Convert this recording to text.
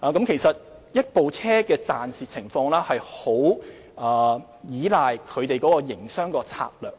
其實，一部美食車的盈虧，十分依賴營商策略。